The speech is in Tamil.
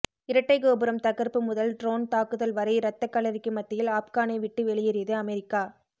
இரட்டை கோபுரம் தகர்ப்பு முதல் ட்ரோன் தாக்குதல் வரை ரத்த களறிக்கு மத்தியில் ஆப்கானை விட்டு வெளியேறியது அமெரிக்கா